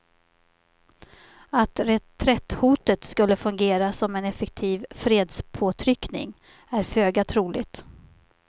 Att reträtthotet skulle fungera som en effektiv fredspåtryckning är föga troligt.